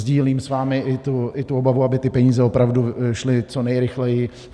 Sdílím s vámi i tu obavu, aby ty peníze opravdu šly co nejrychleji.